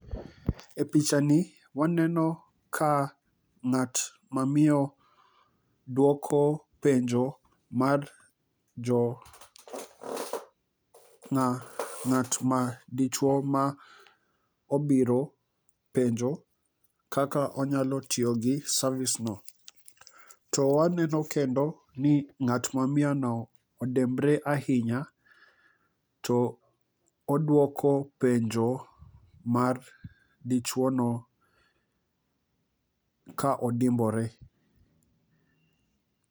E picha ni waneno ka ng'at mamiyo duoko penjo mar jo ng'a ng'at ma dichuo ma obiro penjo kaka onyalo tiyo gi service no. To waneno kendo ni ng'at ma miyo no odembre ahinya to oduoko penjo mar dichuo no ka odimbore.